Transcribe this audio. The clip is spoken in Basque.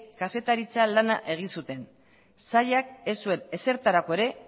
kazetaritza lana egin zuten sailak ez zuen ezertarako ere